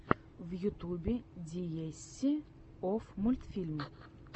в ютюбе диэсси офф мультфильм